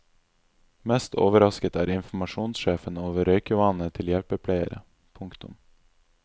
Mest overrasket er informasjonssjefen over røykevanene til hjelpepleiere. punktum